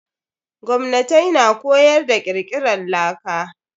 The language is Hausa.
Gwamnatai na koyar da kirkiran laka.